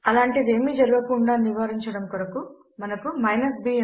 అలాంటిది ఏమీ జరగకుండా నివారించడము కొరకు మనకు b ఎంపిక ఉన్నది